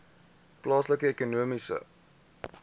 plaaslike ekonomiese